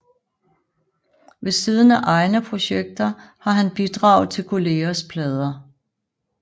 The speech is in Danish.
Ved siden af egne projekter har han bidraget til kollegers plader